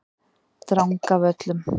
Drangavöllum